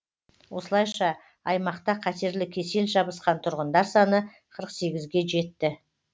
осылайша аймақта қатерлі кесел жабысқан тұрғындар саны қырық сегізге жетті